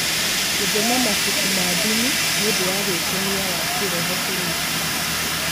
Gũthoma mabuku ma ndini nĩ ũndũ wa gwĩkenia wa kĩĩroho kũrĩ aingĩ.